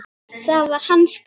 Það var hans gæfa.